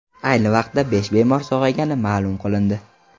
Ayni vaqtda besh bemor sog‘aygani ma’lum qilindi .